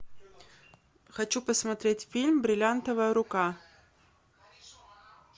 хочу посмотреть фильм бриллиантовая рука